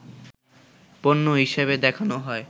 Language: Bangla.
পণ্য হিসেবে দেখানো হয়